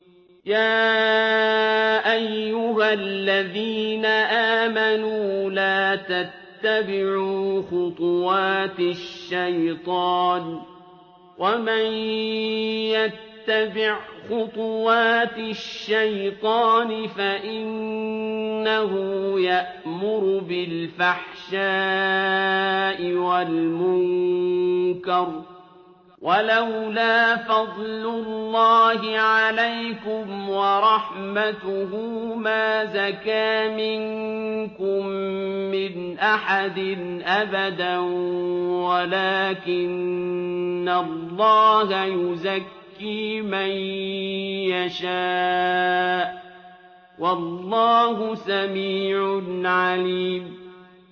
۞ يَا أَيُّهَا الَّذِينَ آمَنُوا لَا تَتَّبِعُوا خُطُوَاتِ الشَّيْطَانِ ۚ وَمَن يَتَّبِعْ خُطُوَاتِ الشَّيْطَانِ فَإِنَّهُ يَأْمُرُ بِالْفَحْشَاءِ وَالْمُنكَرِ ۚ وَلَوْلَا فَضْلُ اللَّهِ عَلَيْكُمْ وَرَحْمَتُهُ مَا زَكَىٰ مِنكُم مِّنْ أَحَدٍ أَبَدًا وَلَٰكِنَّ اللَّهَ يُزَكِّي مَن يَشَاءُ ۗ وَاللَّهُ سَمِيعٌ عَلِيمٌ